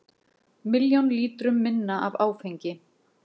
Milljón lítrum minna af áfengi